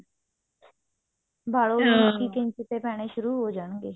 ਵਲ ਉਹਨੂੰ ਪੈਣੇ ਸ਼ੁਰੂ ਹੋ ਜਾਣਗੇ